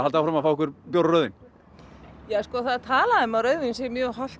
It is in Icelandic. áfram að fá ykkur bjór og rauðvín það er talað um að rauðvín sé mjög hollt